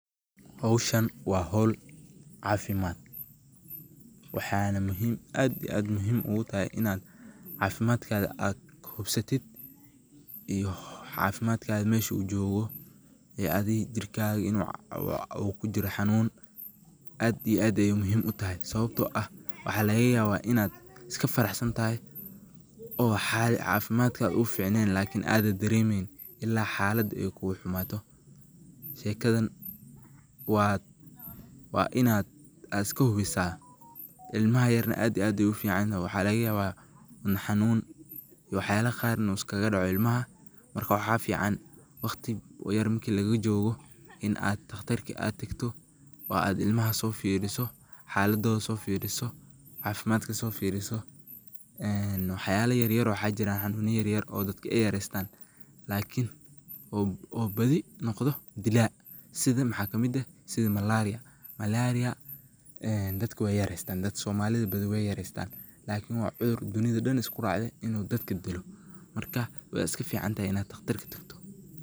Howshaan waa hool cafimaad waxanaa muhiim aad iyo aad muhiim ugu tahay inaad cafimaadkada aad hubsatiit iyo cafimaad kaada meshuu jogoo ee adii jirkaaga inuu uu kuu jiiro xanuun aad iyo aad ayey muhiim uu tahay sawabtoo aah waxa lagaa yawaa inaad iskaa faraxsaan tahay oo cafimadkaaga uu ficneyn lakiin anaad daremeyn ila xalaada eey kuguu xumaato. shekaadan waa waa inaad aad iskaa huwiisa ilmaaha yaar aad ayeey uu ficaan yihiin waxa laaga yaawa ama xanuun iyo wax yaala qaar inu iskagaa dhaaco ilmaaha markaa waxa ficaan waqtii yaar maarki lagaa joogo iin aad taaqtarka aad taagto oo aad ilmahaa soo fiiriso, xaladooda soo fiiriso, cafimaad kaa soo fiiriso een wax yaala yaar yaar oo waxa jiiran xanuuna yaar yaar oo dadkaa eey yareystaan laakin oo baadi noqdoo diila siida maxaa kamiid eeh siida malaria malaria een dadkaa wey yarestaan dad somaliida baadi wey yareystaan lakiin waa cuduur dunida dhaan iskuu raacde inu dadkaa diilo markaa wey iskaa ficaan tahaay inaa taqtaarka tagtoo.